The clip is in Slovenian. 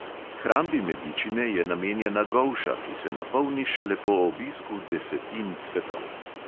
Hrambi medičine je namenjena golša, ki se napolni šele po obisku desetin cvetov.